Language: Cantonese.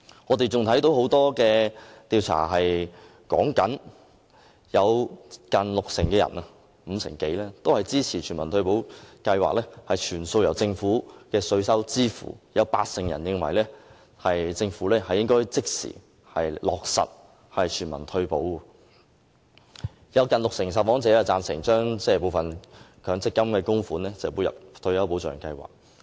我們亦看到，很多調查顯示大約五成多，接近六成的受訪者支持全民退休保障計劃全數由政府的稅收支付；有八成人認為政府應該即時落實全民退休保障；有近六成的受訪者贊成將部分強積金的供款撥入退休保障計劃。